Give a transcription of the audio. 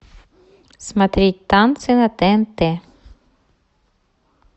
смотреть танцы на тнт